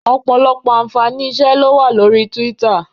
Ọ̀pọ̀lọpọ̀ ààǹfàní iṣẹ́ ló wà lórí Twitter